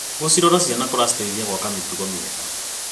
Gũcirora ciana kũraciteithia gwaka mĩtugo mĩega.